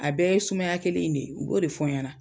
A bɛɛ ye sumaya kelen in de ye, u b'o de fɔ n ye na.